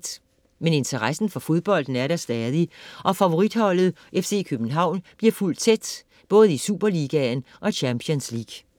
Men interessen for fodbolden er der stadig, og favoritholdet FC København bliver fulgt tæt - både i Superligaen og i Champions League: